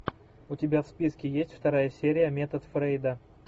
у тебя в списке есть вторая серия метод фрейда